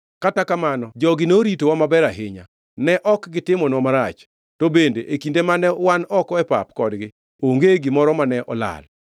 Kata kamano jogi noritowa maber ahinya. Ne ok gitimonwa marach, to bende e kinde mane wan oko e pap kodgi onge gimoro mane olal.